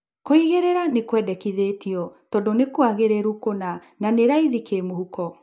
Kũigĩrĩra nĩ kwendekithĩtio tondũ ni kũagĩrĩru kũna na nĩ raithi kĩmũhuko